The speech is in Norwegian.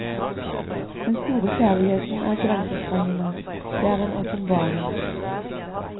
Den store kjærligheten er grensesprengende, det er en åpenbaring.